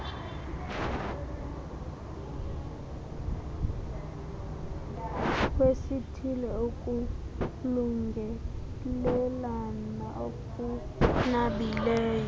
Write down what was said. wesithile ukulungelelana okunabileyo